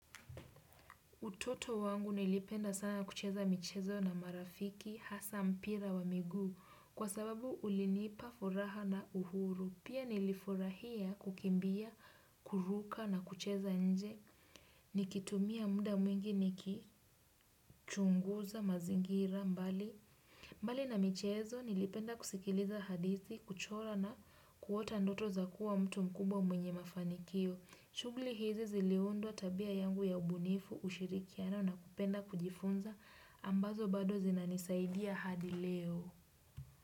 Utoto wangu nilipenda sana kucheza michezo na marafiki hasa mpira wa miguu kwa sababu ulinipa furaha na uhuru. Pia nilifurahia kukimbia, kuruka na kucheza nje. Nikitumia muda mwingi nikichunguza mazingira mbali. Mbali na michezo, nilipenda kusikiliza hadithi, kuchora na kuota ndoto za kuwa mtu mkubwa mwenye mafanikio. Shughli hizi ziliundwa tabia yangu ya ubunifu ushirikiano na kupenda kujifunza ambazo bado zina nisaidia hadi leo.